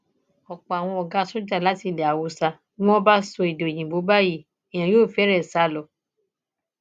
ọpọ àwọn ọgá sójà láti ilẹ haúsá bí wọn bá sọ èdè òyìnbó báyìí èèyàn yóò fẹre sá lọ